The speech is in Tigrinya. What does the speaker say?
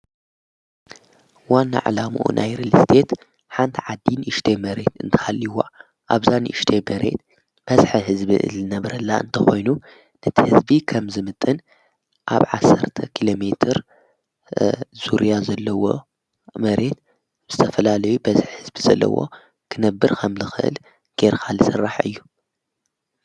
ዋና ዕላምኡ ናይር ልስዴት ሓንቲ ዓዲን እሽተ መሬት እንተሃልይዋ ኣብዛን ይሽተ መሬት በስሐ ሕዝቢ እል ነብረላ እንተ ኾይኑ ነቲ ሕዝቢ ኸም ዝምጥን ኣብ ዓሠርተ ኪሎ ሜር ዙርያ ዘለዎ መሬት ብስተፈላለይ በስሕ ሕዝቢ ዘለዎ ክነብር ከም ልኽእል ጌርካልሠራሕ እዩ።